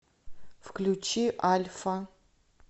включи альфа